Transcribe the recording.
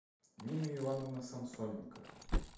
нина ивановна самсоненко